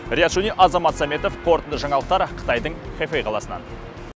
риат шони азамат сәметов қорытынды жаңалықтар қытайдың хэфэй қаласынан